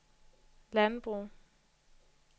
landbrug